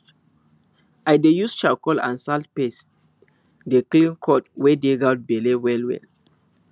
i dey use charcoal and salt paste dey clean cord wey dey goat belle wellwell